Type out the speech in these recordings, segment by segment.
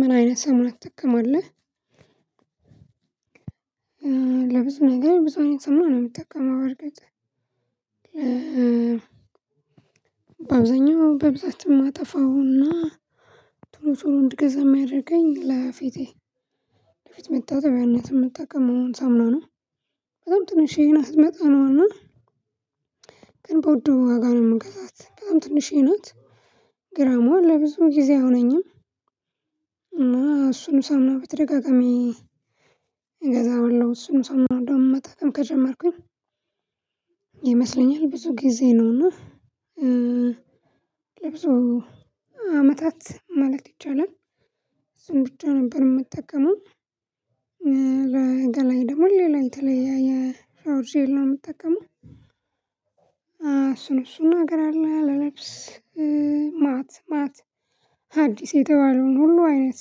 ምን አይነት ሳሙና ትጠቀማለህ ለብዙ ነገር ብዙ አይነት ሰማ ነው የምትጠቀመው? በእርግጥ በአብዛኛው በብዛት የማጠፋውና ጥሩ ጥሩ እንድገዛ የማያደርገኝ ለፊቴ ለፊት መጣጣቢያነት የምጠቀመው ሳሙና ነው። በጣም ትንሽዬን አስመጣ ነው እና ግን በውዱ ዋጋ ነው የምንገዛት በጣም ትንሽዬ ናት ግራማው ለብዙ ጊዜ አይሆነኝም። እና እሱን ሳምና ብትደጋገሚ እገዛ አለው እሱን ሳሙና እንደውም መጠቀም ከጀመርኩኝ ይመስለኛል ብዙ ጊዜ ነውና ለብዙ አመታት ማለት ይቻላል። እሱ ብቻ ነበር የምጠቀመው። ለሌላ ደግሞ ሌላ የተለያየ ሃውሪንግ ነው የምትጠቀመው እሱን እሱን ነገር አለ ለብስ ማት ማት አዲስ የተባለውን ሁሉ አይነት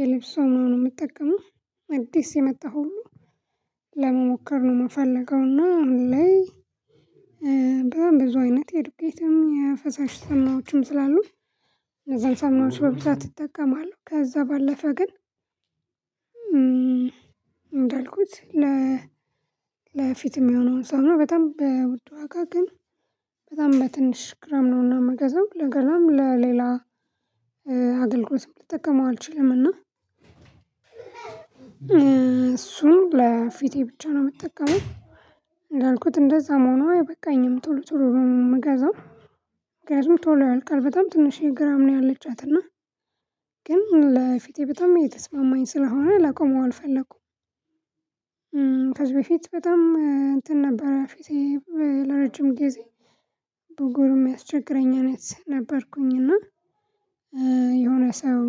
የልብስ ሳሙና ነው የምትጠቀመው። አዲስ የመጣው ሁሉ ለመሞከር ነው የምፈልገው እና እንዴ በዛም ብዙ አይነት የድቤትም የፈሳሽ ሰማዎችም ስላሉት ለዛን ሰማዎች በብዛት እጠቀማለሁ። ከዛ ባለፈ ግን እንዳልኩት ለፊትም የሆነውን ሳሙና ነው በጣም በውድ ዋጋ ግን በጣም በትንሽ ግራም ነውና መገዛው ለገናም ለሌላ አገልግሎት ልጠቀመው አልችልምና እና እሱ ለፊቴ ብቻ ነው የምጠቀመው። እንዳልኩት እንደዛም ሆኖ አይበቃኝም ቶሎ ቶሎ ነው የምገዛው ምክንያቱም ቶሎ ያልከል በጣም ትንሽ ግራም ነው ያለቻትና ግን ለፊቴ በጣም እየተስማማኝ ስለሆነ ለቆመው አልፈለኩም። ከዚህ በፊት በጣም እንትን ነበር ፊቴ ለረጅም ጊዜ ብጉሮ የሚያስቸግረኝ አይነት ነበርኩኝ እና የሆነ ሰው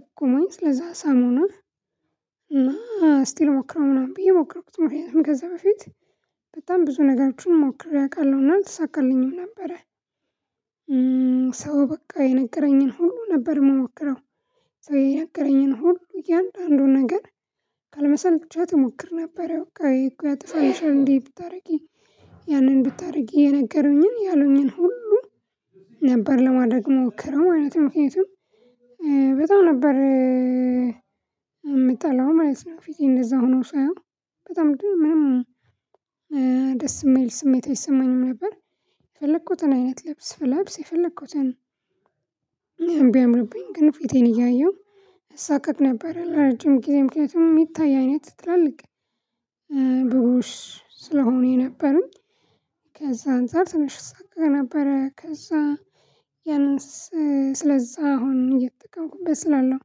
ጥቁመኝ ስለዛ ሳሙና ስቲል ሞክረው ምናምን ብዬ ሞክረው ምክንያቱም ከዘ በፊት በጣም ብዙ ነገሮችን ሞክሬ አውቃለሁና አልተሳካልኝም ነበረ ሰው በቃ የነገረኝን ሁሉ ነበር የምሞክረው ሰው የነገረኝን ሁሉ እያንዳንዱን ነገር ካልመሰልቻት እሞክር ነበር አዎ እኮ ያጥፋልሻል እንዴ ብታደርጊ ያንን ብታደርጊ የነገሩኝን እያሉኝን ሁሉ ነበር ለማድረግ ሞክረው ማለትም ምክንያቱም በጣም ነበር የምጣላው ማለት ነው። ፊቴ እንደዛ ሆኖ ሳይሆን በጣም እንደው ምንም ደስ የሚል ስሜት አይሰማኝም ነበር። የፈለኩትን አይነት ልብስ ብለብስ የፈለኩትን እኔም ቢያምርብኝ ግን ፊቴን እያየሁ አሳቀቅ ነበር ለረጅም ጊዜ ምክንያቱም የሚታይ አይነት ትትላልቅ ትላልቅ ብሩሽ ስለሆኑ የነበሩኝ ከዚያ አንፃር ትንሽ እሳቀቅ ነበረ። ከዛ ያንን ስለዛ አሁን እየተቀውኩበት ስላለው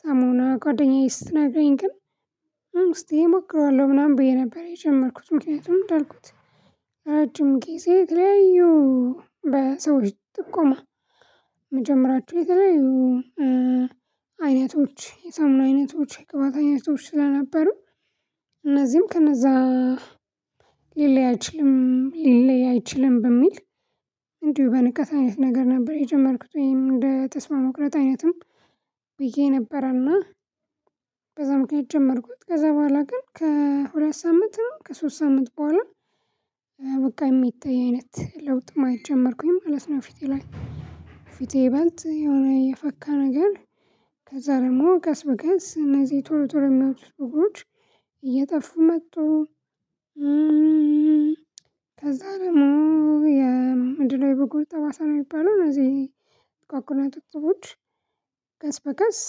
ሳሙና ጓደኛዬ ስትናገረኝ ግን እስቲ እሞክረዋለሁ ምናምን ብዬ ነበር የጀመርኩት ምክንያቱም እንዳልኩት እረጅም ጊዜ የተለያዩ በሰዎች ጥቆማ መጀመሪያቸው የተለያዩ አይነቶች የሳሙና አይነቶች የቅባት አይነቶች ስለነበሩ እነዚህም ከነዛ ሊለይ አይችልም ሊለይ አይችልም በሚል እንዲሁ በንቀት አይነት ነገር ነበር የጀመርኩት ወይም እንደ ተስፋ መቁረጥ አይነትም ብዬ ነበርና በዛ ምክንያት ጀመርኩት ከዛ በኋላ ግን ከሁለት ሳምንትም ከሶስት ሳምንት በኋላ በቃ የሚታይ አይነት ለውጥ ማየት ጀመርኩኝ ማለት ነው። ፊቴ ላይ ፊቴ ይበልጥ የሆነ የፈካ ነገር ከዛ ደግሞ ቀስ በቀስ እነዚህ ቶሎ ቶሎ የሚወጡት ቡግሮች እየጠፉ መጡ። ከዛ ደግሞ የምንድነው የበጎል ጠባሳ ነው የሚባለው እነዚህ ጥቋቁር ነጥብጥቦች ቀስ በቀስ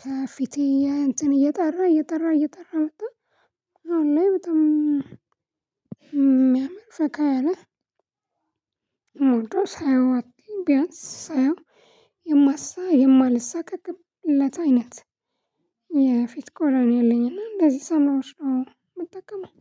ከፊቴ እንትን እየጠራ እየጠራ እየጠራ መጣ አሁን ላይ በጣም የሚያመር ፈካ ያለ ሳየው አትሊም ቢያንስ ሳየው የማሳ የማልሳቀቅለት አይነት የፊት ኮሎኔል ነኝ እና እንደዚህ ሳሙናዎች ነው የምጠቀመው።